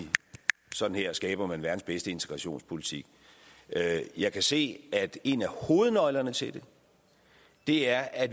sådan her skaber man verdens bedste integrationspolitik jeg kan se at en af hovednøglerne til det er at